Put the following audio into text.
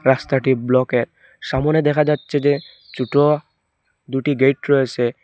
রাস্তাটি ব্লকের সামোনে দেখা যাচ্ছে যে ছুটো দুটি গেট রয়েছে।